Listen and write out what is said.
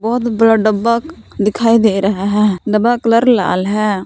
बहुत बड़ा डब्बा दिखाई दे रहा है डब्बा कलर लाल है।